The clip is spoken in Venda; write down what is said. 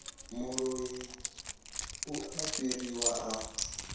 muloi u a fariwa a